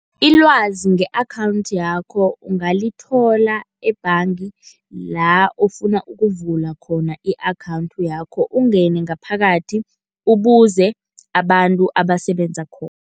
Ilwazi nge-akhawunthi yakho ungalithola ebhanga la ofuna ukuvula khona i-akhawunthi yakho, ungene ngaphakathi ubuze abantu abasebenza khona.